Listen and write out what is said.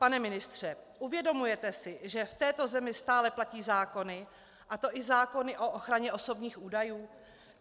Pane ministře, uvědomujete si, že v této zemi stále platí zákony, a to i zákony o ochraně osobních údajů?